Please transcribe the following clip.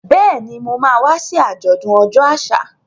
Bẹ́ẹ̀ni, Mo ma wá sí àjọ̀dún ọjọ́ àṣà.